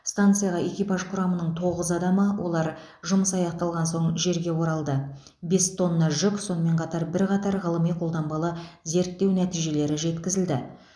станцияға экипаж құрамының тоғыз адамы олар жұмыс аяқталған соң жерге оралды бес тонна жүк сонымен қатар бірқатар ғылыми қолданбалы зерттеу нәтижелері жеткізілді